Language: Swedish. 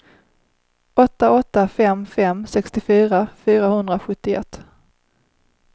åtta åtta fem fem sextiofyra fyrahundrasjuttioett